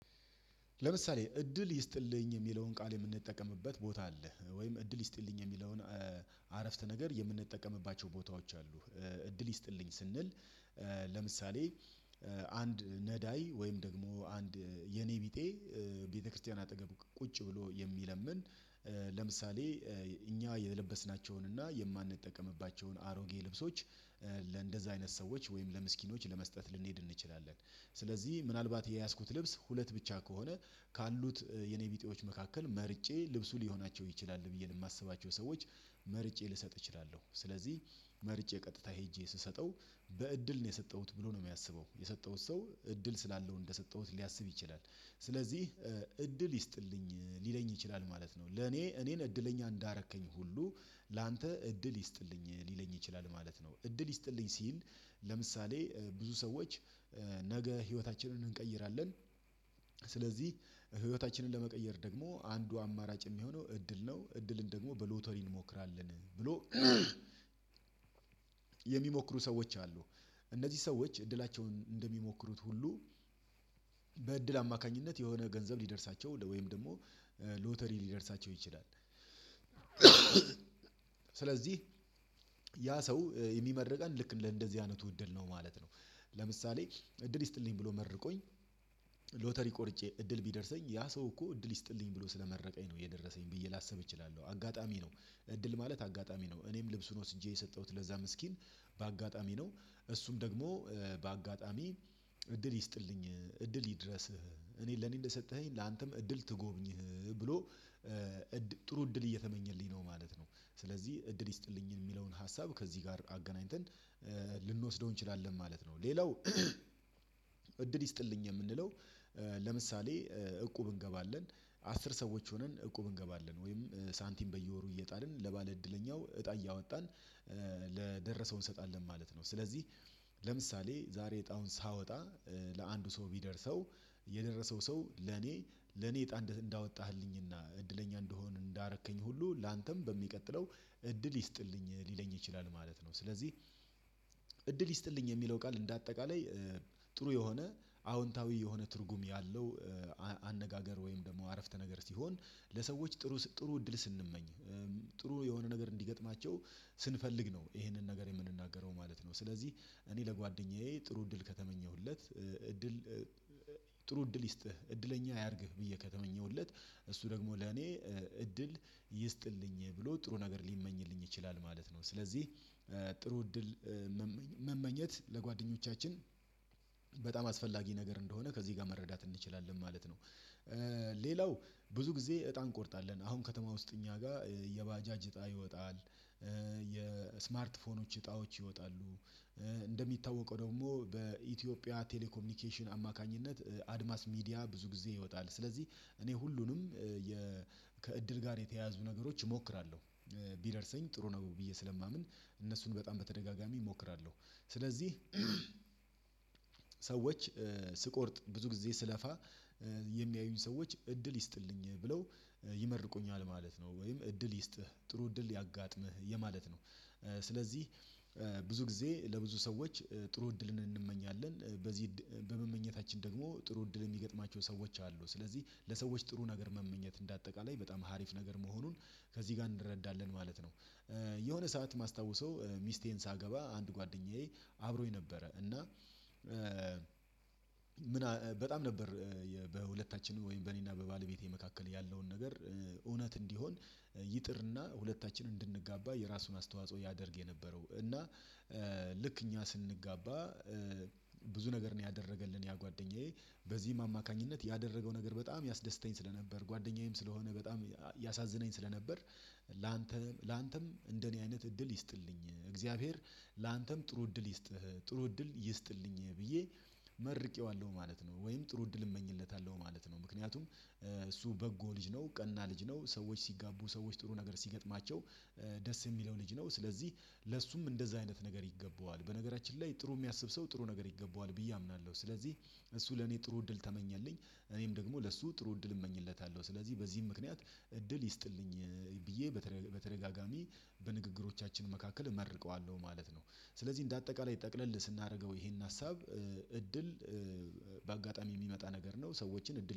ለምሳሌ እድል ይስጥልኝ የሚለውን ቃል የምንጠቀምበት ቦታ አለ ወይም እድል ይስጥልኝ የሚለውን አረፍተ ነገር የምንጠቀምባቸው ቦታዎች አሉ እድል ይስጥልኝ ስንል። ለምሳሌ አንድ ነዳይ ወይም ደግሞ አንድ የኔቢጤ ቤተክርስቲያን አጠገብ ቁጭ ብሎ የሚለምን። ለምሳሌ እኛ የለበስናቸውን እና የማንጠቀምባቸውን አሮጌ ልብሶች ለእንደዚህ አይነት ሰዎች ወይም ለምስኪኖች ለመስጠት ልንሄድ እንችላለን። ስለዚህ ምናልባት የያዝኩት ልብስ ሁለት ብቻ ከሆነ ካሉት የኔቢጤዎች መካከል መርጬ ልብሱ ሊሆናቸው ይችላል ብዬ ለማስባቸው ሰዎች መርጬ ልሰጥ እችላለሁ ስለዚህ። መርጬ ቀጥታ ሄጄ ስሰጠው በእድል ነው የሰጠሁት ብሎ ነው የሚያስበው የሰጠሁት ሰው እድል ስላለው እንደሰጠሁት ሊያስብ ይችላል። ስለዚህ እድል ይስጥልኝ ሊለኝ ይችላል ማለት ነው ለኔ እኔን እድለኛ እንዳረከኝ ሁሉ ላንተ እድል ይስጥልኝ ሊለኝ ይችላል ማለት ነው። እድል ይስጥልኝ ሲል ለምሳሌ ብዙ ሰዎች ነገ ህይወታችንን እንቀይራለን። ስለዚህ ህይወታችንን ለመቀየር ደግሞ አንዱ አማራጭ የሚሆነው እድል ነው እድልን ደግሞ በሎተሪ እንሞክራለን ብሎ የሚሞክሩ ሰዎች አሉ። እነዚህ ሰዎች እድላቸውን እንደሚሞክሩት ሁሉ በእድል አማካኝነት የሆነ ገንዘብ ሊደርሳቸው ወይም ደግሞ ሎተሪ ሊደርሳቸው ይችላል። ስለዚህ ያ ሰው የሚመርቀን ልክ እንደዚህ አይነቱ እደል ነው ማለት ነው። ለምሳሌ እድል ይስጥልኝ ብሎ መርቆኝ ሎተሪ ቆርጬ እድል ቢደርሰኝ ያ ሰው እኮ እድል ይስጥልኝ ብሎ ስለመረቀኝ ነው የደረሰኝ ብዬ ላሰብ እችላለሁ። አጋጣሚ ነው እድል ማለት አጋጣሚ ነው እኔም ልብሱን ወስጄ የሰጠሁት ለዛ ምስኪን በአጋጣሚ ነው። እሱም ደግሞ በአጋጣሚ እድል ይስጥልኝ እድል ይድረስህ እኔ ለኔ እንደሰጠኸኝ ላንተም እድል ትጎብኝህ ብሎ ጥሩ እድል እየተመኘልኝ ነው ማለት ነው። ስለዚህ እድል ይስጥልኝ የሚለውን ሀሳብ ከዚህ ጋር አገናኝተን ልንወስደው እንችላለን ማለት ነው። ሌላው እድል ይስጥልኝ የምንለው ለምሳሌ እቁብ እንገባለን አስር ሰዎች ሆነን እቁብ እንገባለን ወይም ሳንቲም በየወሩ እየጣልን ለባለ እድለኛው እጣ እያወጣን ለደረሰው እንሰጣለን ማለት ነው። ስለዚህ ለምሳሌ ዛሬ እጣውን ሳወጣ ለአንዱ ሰው ቢደርሰው የደረሰው ሰው ለኔ ለኔ እጣ እንዳወጣህልኝና እድለኛ እንድሆን እንዳረከኝ ሁሉ ላንተም በሚቀጥለው እድል ይስጥልኝ ሊለኝ ይችላል ማለት ነው። ስለዚህ እድል ይስጥልኝ የሚለው ቃል እንደ አጠቃላይ ጥሩ የሆነ አዎንታዊ የሆነ ትርጉም ያለው አነጋገር ወይም ደግሞ አረፍተ ነገር ሲሆን ለሰዎች ጥሩ ጥሩ እድል ስንመኝ ጥሩ የሆነ ነገር እንዲገጥማቸው ስንፈልግ ነው ይሄንን ነገር የምንናገረው ማለት ነው። ስለዚህ እኔ ለጓደኛዬ ጥሩ እድል ከተመኘሁለት እድል ጥሩ እድል ይስጥህ እድለኛ ያርግህ ብዬ ከተመኘሁለት እሱ ደግሞ ለኔ እድል ይስጥልኝ ብሎ ጥሩ ነገር ሊመኝልኝ ይችላል ማለት ነው። ስለዚህ ጥሩ እድል መመኘት ለጓደኞቻችን አስፈላጊ ነገር እንደሆነ ከዚህ ጋር መረዳት እንችላለን ማለት ነው። ሌላው ብዙ ጊዜ እጣ እንቆርጣለን አሁን ከተማ ውስጥ እኛ ጋር እጣ ይወጣል። የስማርት ፎኖች እጣዎች ይወጣሉ። እንደሚታወቀው ደግሞ በኢትዮጵያ ቴሌኮሚኒኬሽን አማካኝነት አድማስ ሚዲያ ብዙ ጊዜ ይወጣል ስለዚህ እኔ ሁሉንም ከእድል ጋር የተያያዙ ነገሮች እሞክራለሁ ቢደርሰኝ ጥሩ ነው ብዬ ስለማምን እነሱን በጣም በተደጋጋሚ እሞክራለሁ። ስለዚህ ሰዎች ስቆርጥ ብዙ ጊዜ ስለፋ የሚያዩኝ ሰዎች እድል ይስጥልኝ ብለው ይመርቁኛል ማለት ነው ወይም እድል ይስጥህ ጥሩ እድል ያጋጥምህ የማለት ነው። ስለዚህ ብዙ ጊዜ ለብዙ ሰዎች ጥሩ እድልን እንመኛለን በዚህ እድል በመመኘታችን ደግሞ ጥሩ እድል የሚገጥማቸው ሰዎች አሉ ስለዚህ ለሰዎች ጥሩ ነገር መመኘት እንደ አጠቃላይ በጣም ሀሪፍ ነገር መሆኑን ከዚህ ጋር እንረዳለን ማለት ነው። የሆነ ሰዓት ማስታውሰው ሚስቴን ሳገባ አንድ ጓደኛዬ አብሮኝ ነበረ እና ምን በጣም ነበር በሁለታችንም ወይም በእኔና በባለቤቴ መካከል ያለውን ነገር እውነት እንዲሆን ይጥርና ሁለታችን እንድንጋባ የራሱን አስተዋጽኦ ያደርግ የነበረው እና ልክ እኛ ስንጋባ ብዙ ነገር ነው ያደረገልን ያ ጓደኛዬ በዚህም አማካኝነት ያደረገው ነገር በጣም ያስደስተኝ ስለነበር ጓደኛዬም ስለሆነ በጣም ያሳዝነኝ ስለነበር። ላንተም ላንተም እንደኔ አይነት እድል ይስጥልኝ እግዚአብሔር ላንተም ጥሩ እድል ይስጥህ ጥሩ እድል ይስጥልኝ ብዬ መርቄዋለሁ ማለት ነው ወይም ጥሩ እድል እመኝለታለሁ ማለት ነው። ምክንያቱም እሱ በጎ ልጅ ነው ቀና ልጅ ሰዎች ሲጋቡ ሰዎች ጥሩ ነገር ሲገጥማቸው ደስ የሚለው ልጅ ነው። ስለዚህ ለእሱም እንደዛ አይነት ነገር ይገባዋል በነገራችን ላይ ጥሩ የሚያስብ ሰው ጥሩ ነገር ይገባዋል ብዬ አምናለሁ። ስለዚህ እሱ ለኔ ጥሩ እድል ተመኘልኝ እኔም ደግሞ ለሱ ጥሩ እድል እመኝለታለሁ ስለዚህ በዚህም ምክንያት እድል ይስጥልኝ ብዬ በተደጋጋሚ በንግግሮቻችን መካከል እመርቀዋለሁ ማለት ነው። ስለዚህ እንደ አጠቃላይ ጠቅለል ስናደርገው ይሄን ሀሳብ እድል በአጋጣሚ የሚመጣ ነገር ነው ሰዎችን እድል